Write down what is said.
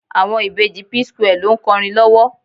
Àwọn ìbejì P-square ló ń kọrin lọ́wọ́.